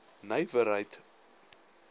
nywerheid